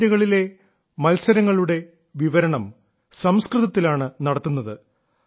ഈ ടൂർണമെന്റിലെ മാച്ചുകളുടെ ദൃക്സാക്ഷി വിവരണം സംസ്കൃതത്തിലാണ് നടത്തുന്നത്